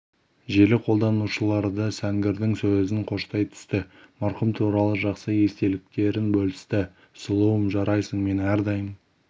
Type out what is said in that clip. желі қолданушылары да сәнгердің сөзін қоштай түсті марқұм туралы жақсы естеліктерін бөлісті сұлуым жарайсың мен әрдайым